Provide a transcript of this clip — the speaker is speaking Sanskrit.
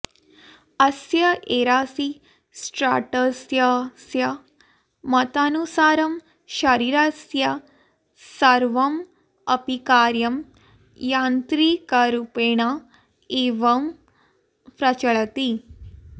अस्य एरासिस्ट्राटसस्य मतानुसारं शरीरस्य सर्वम् अपि कार्यं यान्त्रिकरूपेण एव प्रचलति